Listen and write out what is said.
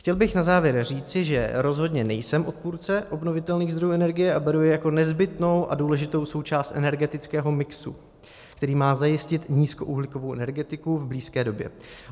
Chtěl bych na závěr říct, že rozhodně nejsem odpůrce obnovitelných zdrojů energie a beru je jako nezbytnou a důležitou součást energetického mixu, který má zajistit nízkouhlíkovou energetiku v blízké době.